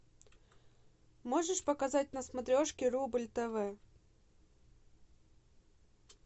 можешь показать на смотрешке рубль тв